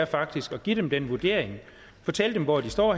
faktisk at give dem den vurdering og fortælle dem hvor de står